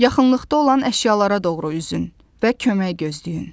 Yaxınlıqda olan əşyalara doğru üzün və kömək gözləyin.